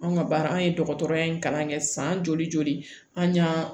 Anw ka baara an ye dɔgɔtɔrɔya in kalan kɛ san joli joli an y'a